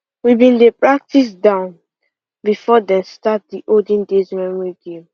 we been dey practice down before dem start the olden days memory game